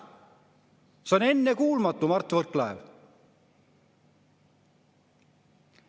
See on ennekuulmatu, Mart Võrklaev!